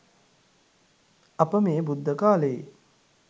අප මේ බුද්ධ කාලයේ